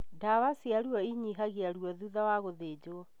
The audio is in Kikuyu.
Ndawa cia ruo inyihagia ruo thutha wa gũthĩnjwo